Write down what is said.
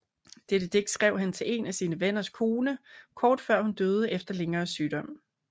Dette digt skrev han til en af sine venners kone kort før hun døde efter længere sygdomme